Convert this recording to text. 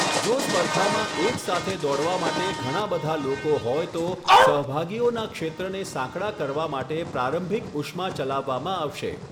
જો સ્પર્ધામાં એક સાથે દોડવા માટે ઘણા બધા લોકો હોય તો, સહભાગીઓના ક્ષેત્રને સાંકડા કરવા માટે પ્રારંભિક ઉષ્મા ચલાવવામાં આવશે.